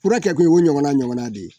Fura kɛkun ye o ɲɔgɔnna ɲɔgɔnna de ye